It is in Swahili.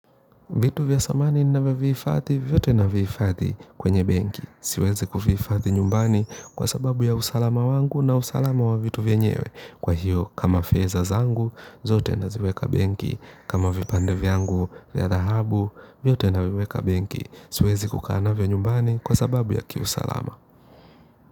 Vitu vya thamani ninavyovihifadhi, vyote navihifadhi kwenye benki. Siwezi kuvihifadhi nyumbani kwa sababu ya usalama wangu na usalama wa vitu vyenyewe. Kwa hiyo, kama fedha zangu, zote naziweka benki. Kama vipande vyangu vya dhahabu, vyote naviweka benki. Siwezi kukaa navyo nyumbani kwa sababu ya usalama.